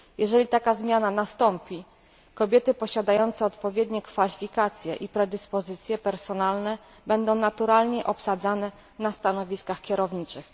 Jeżeli taka zmiana nastąpi, kobiety posiadające odpowiednie kwalifikacje i predyspozycje personalne będą naturalnie obsadzane na stanowiskach kierowniczych.